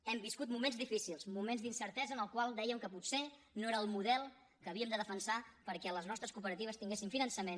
hem viscut moments difícils moments d’incertesa en els quals dèiem que potser no era el model que havíem de defensar perquè les nostres cooperatives tinguessin finançament